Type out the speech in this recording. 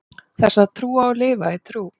þess að trúa og lifa í trú